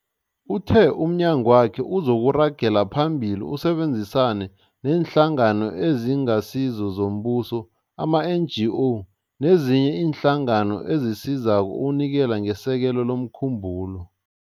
Uthe umnyagwakhe uzoragela phambili usebenzisane neeNhlangano eziNgasizo zoMbuso, ama-NGO, nezinye iinhlangano ezisizako ukunikela ngesekelo lomkhumbulo.